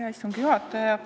Hea istungi juhataja!